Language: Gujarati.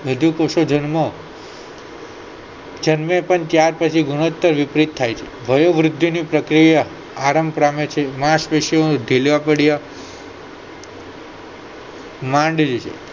વધુ કોષો જન્મો જન્મે પણ ત્યાંર પછી ગુણોત્તર વિપરીત થાય છે વયોવૃદ્ધિની પ્રક્રિયા માંશપેસી ઠીલા પડયા